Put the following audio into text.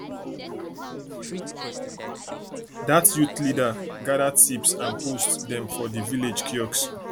dat youth leader gather tips and post dem for di village kiosk